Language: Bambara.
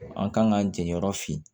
An kan k'an jɛyɔrɔ fin